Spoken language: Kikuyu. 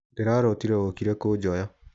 Ndirarotire wokire kũjoya.